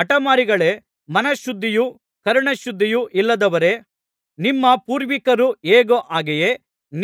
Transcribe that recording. ಹಠಮಾರಿಗಳೇ ಮನಶುದ್ಧಿಯೂ ಕರ್ಣಶುದ್ಧಿಯೂ ಇಲ್ಲದವರೇ ನಿಮ್ಮ ಪೂರ್ವಿಕರು ಹೇಗೋ ಹಾಗೆಯೇ